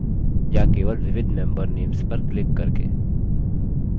या केवल विविध member names पर क्लिक करके